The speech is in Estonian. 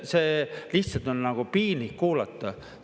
See lihtsalt on piinlik kuulata!